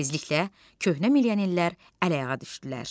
Tezliklə köhnə milyonlər əl-ayağa düşdülər.